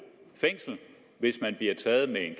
fængsel hvis man blev taget med en